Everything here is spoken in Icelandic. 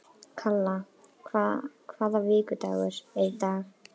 Kalla, hvaða vikudagur er í dag?